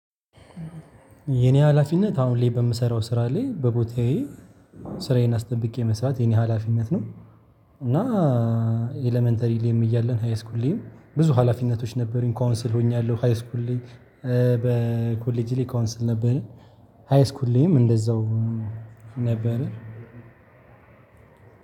የኔ ሀላፊነት አሁን ላይ በምሰራው ስራ ላይ በቦታዬ ስራዬን አስጠብቄ መስራት የኔ ሀላፊነት ነው። እና ኤለመንተሪ ላይም እያለን፣ ሀይስኩል ላይም ብዙ ሀላፊነቶች ነበሩኝ። ካውንስል ሆኛለሁ፣ ሃይስኩል ላይ በኮሌጅ ላይ ካውንስል ነበረ፣ ሃይስኩል ላይም እንደዛው ነበረ።